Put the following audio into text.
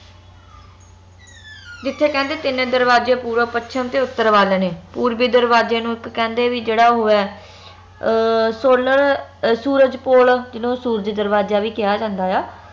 ਜਿਥੇ ਕਹਿੰਦੇ ਤਿੰਨ ਦਰਵਾਜੇ ਪੂਰਵ ਪੱਛਮ ਤੇ ਉੱਤਰ ਵੱਲ ਨੇ ਪੂਰਵੀ ਦਰਵਾਜੇ ਨੂੰ ਇਕ ਕਹਿੰਦੇ ਵੀ ਇਕ ਜੇਹੜਾ ਓਹ ਹੈ ਅਹ solar ਸੂਰਜ ਪੁਲ ਜਿਹਨੂੰ ਸੂਰਜ ਦਰਵਾਜਾ ਵੀ ਕਿਹਾ ਜਾਂਦਾ ਆ